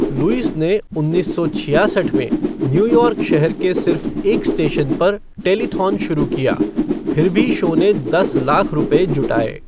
Lewis ने उन्नीस सौ छियासठ में न्यूयॉर्क शहर के सिर्फ एक स्टेशन पर टेलीथॉन शुरू किया, फिर भी शो ने दस लाख रुपये जुटाए।